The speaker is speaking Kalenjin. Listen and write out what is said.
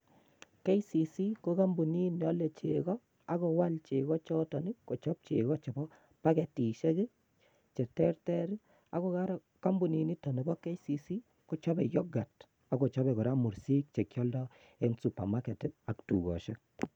KCC ko kompunit neole chego ak kowal chego choton kochop chego chepo paketishek cheterter ako koraa kompuniniton nibo KCC kochope yoghurt akochope koraa mursik chegiolto en supermarket ak tugoshek.